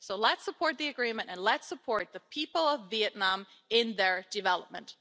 Let's support the agreement and let's support the people of Vietnam in their development.